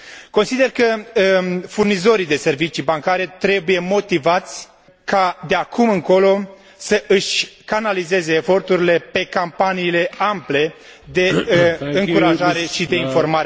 Consider că furnizorii de servicii bancare trebuie motivați ca de acum încolo să își canalizeze eforturile pe campaniile ample de încurajare și informare a cetățenilor.